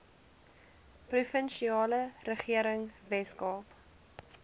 provinsiale regering weskaap